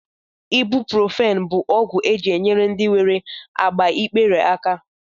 Ibuprofen bụ ọgwụ e ji enyere ndị nwere agbaikpere aka